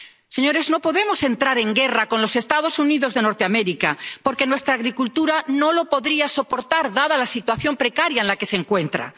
Señores, no podemos entrar en guerra con los Estados Unidos de Norteamérica, porque nuestra agricultura no lo podría soportar, dada la situación precaria en la que se encuentra.